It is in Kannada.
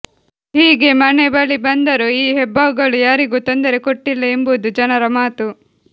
ಹೀಗೆ ಮನೆ ಬಳಿ ಬಂದರೂ ಈ ಹೆಬ್ಬಾವುಗಳು ಯಾರಿಗೂ ತೊಂದರೆ ಕೊಟ್ಟಿಲ್ಲ ಎಂಬುದು ಜನರ ಮಾತು